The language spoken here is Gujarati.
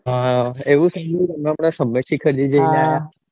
હા એવું થઇ જ્યું છે ને